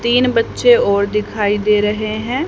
तीन बच्चे और दिखाई दे रहे हैं।